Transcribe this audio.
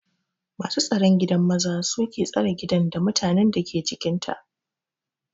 Masu staron gidan maza suke stare gidan, da mutanen dake cikinta.